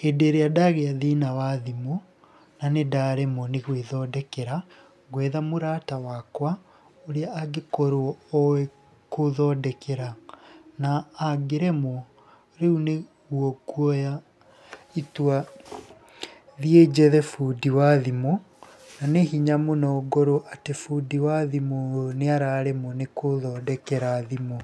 Hĩndĩ ĩrĩa ndagĩa thĩna wa thimũ, na nĩ ndaremwo nĩ gwĩthondekera, ngwetha mũrata wakwa ũrĩa angĩkorwo ooĩ kũthondekera. Na angĩremwo rĩu nĩguo nguoya itua thiĩ njethe bũndi wa thimũ na nĩ hinya mũno ngorwo atĩ bundi wa thimũ nĩ araremwo nĩ kũthondekera thimũ.